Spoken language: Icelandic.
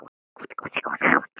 spurði Ása amma aftur.